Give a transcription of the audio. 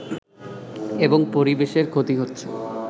এবং পরিবেশের ক্ষতি হচ্ছে